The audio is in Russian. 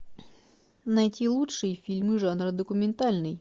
найти лучшие фильмы жанра документальный